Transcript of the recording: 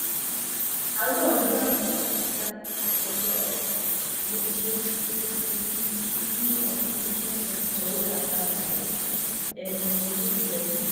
àárò ọjọ́ àbámẹ́ta sátidé ọjọ́ kejìlélógún oṣù kìn-ín-ní ọdún twenty twenty two lowó bá saheed ẹni ogójì ọdún